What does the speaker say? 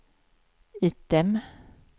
item